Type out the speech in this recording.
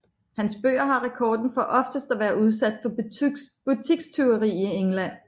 Hans bøger har rekorden for oftest at være udsat for butikstyveri i England